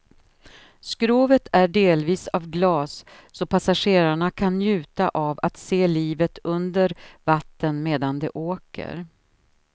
Skrovet är delvis av glas så passagerarna kan njuta av att se livet under vatten medan de åker.